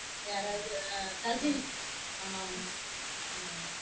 யாராவது ஆஹ் cousins ஆமா ஆமா. ஆமா ஆமா.